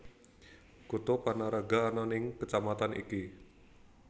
Kutha Panaraga ana ing kecamatan iki